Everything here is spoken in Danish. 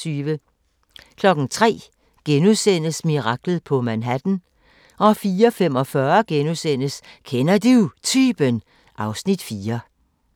03:00: Miraklet på Manhattan * 04:45: Kender Du Typen? (Afs. 4)*